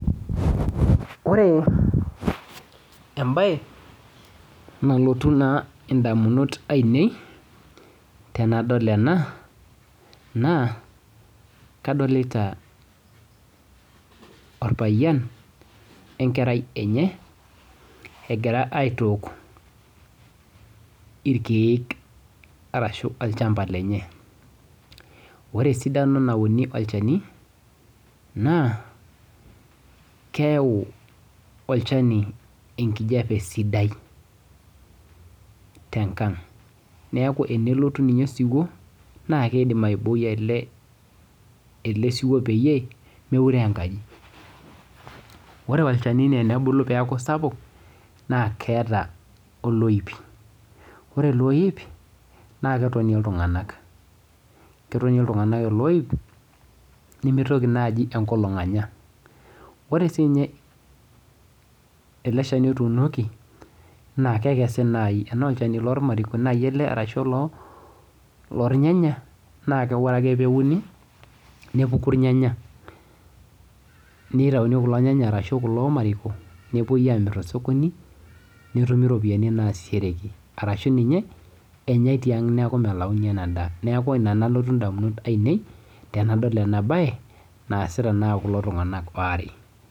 Ore embae nalotu naa indamunot ainei tenadol ena naa kadolita orpayian we nkerai enye egira aitook irkiek arashu olchamba lenye. Ore esidano nauni olchani naa keyau olchani enkijape sidai tenkang' neeku tenelotu ninye osiwuo naa keidim aiboi ele siwuo peyie meuroo enkaji. Ore olchani naa enebulu peeku sapuk naa keeta oloip, ore ele oip naa ketonie iltung'anak. Ketonie iltung'anak ele oip nimitoki naaji enkolong anya . Ore siininye ele shani otuunoki naa kekesi naai. Enaa olchani lormariko naai ele arashu oloornyanya naki ore ake peuni nepuku irnyanya nutauni kulo nyanya ashu kulo mariko nepwoi amirr tosokoni netumi iropiyiani naasishoshoreki arashu ninye enyae tiang' niaku melauni ena daa. Neeku ina nalotu indamunot ainei tenadol ena bae naasita naa kulo tung'anak waare